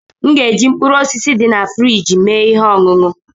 M ga-eji mkpụrụ osisi dị na friji mee ihe ọṅụṅụ.